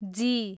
जी